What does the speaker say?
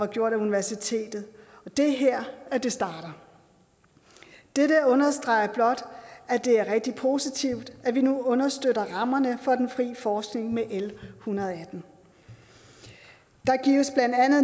gjort af universitetet det er her det starter dette understreger blot at det er rigtig positivt at vi nu understøtter rammerne for den frie forskning med l en hundrede og atten der gives